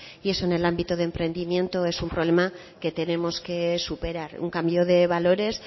y eso en el ámbito de emprendimiento es un problema que tenemos que superar un cambio de valores